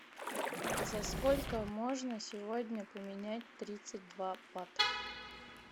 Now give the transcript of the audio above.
за сколько можно сегодня поменять тридцать два бат